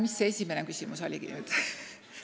Mis see esimene küsimus oligi?